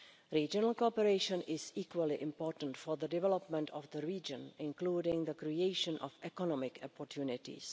Regional cooperation is equally important for the development of the region, including the creation of economic opportunities.